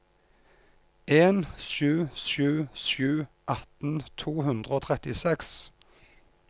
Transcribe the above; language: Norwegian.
en sju sju sju atten to hundre og trettiseks